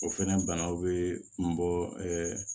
O fɛnɛ banaw be n bɔ ɛ